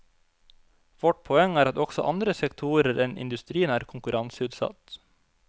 Vårt poeng er at også andre sektorer enn industrien er konkurranseutsatt.